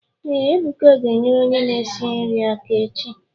Ee, Ebuka ga enyere onye na-esi nri aka echi